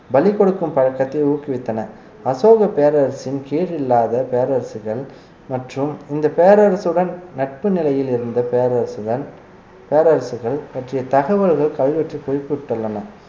பலி கொடுக்கும் பழக்கத்தை ஊக்குவித்தன அசோகப் பேரரசின் கேடு இல்லாத பேரரசுகள் மற்றும் இந்த பேரரசுடன் நட்பு நிலையிலிருந்து பேரரசுகள் பேரரசுகள் பற்றிய தகவல்கள் கல்வெட்டில் குறிப்பிட்டுள்ளன